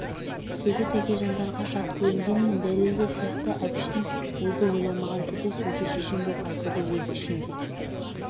сөзі тәкежандарға жат көрінгенмен дәлелді сияқты әбішгің өзі ойламаған түрде сөзі шешен боп айтылды өз ішінде